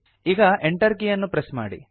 ಈಗ Enter ಕೀ ಅನ್ನು ಪ್ರೆಸ್ ಮಾಡಿ